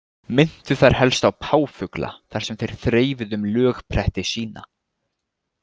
Minntu þeir helst á páfugla þar sem þeir þrefuðu um lögpretti sína.